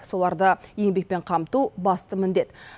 соларды еңбекпен қамту басты міндет